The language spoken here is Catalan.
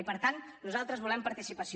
i per tant nosaltres volem participació